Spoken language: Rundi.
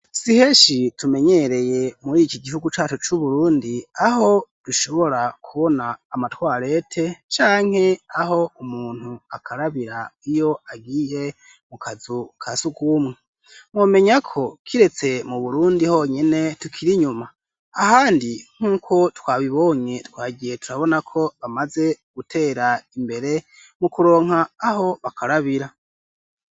Si henshi tumenyereye muri iki gihugu cacu c'Uburundi aho dushobora kubona amatwarete canke aho umuntu akarabira iyo agiye mu kazu ka sugumwe. Mumenya ko kiretse mu Burundi honyene tukiri nyuma ahandi nk'uko twabibonye twagiye turabona ko bamaze gutera imbere mu kuronka aho bakarabira.